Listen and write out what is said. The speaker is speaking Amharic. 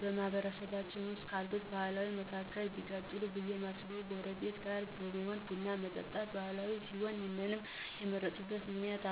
በማህበረሰባችን ዉስጥ ካሉት ባህላት መካከል ቢቀጥል ብዬ እማስበው ጎረቤት ጋር በመሆን ቡን የመጠጣት ባህል ሲሆን ይህንም የመረጥኩበት ምክንያት